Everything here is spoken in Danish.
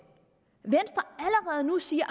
siger